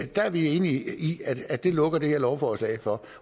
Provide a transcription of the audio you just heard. der er vi enige i at det lukker det her lovforslag for